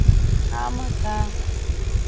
ஆமாக்கா